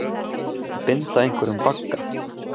Að binda einhverjum bagga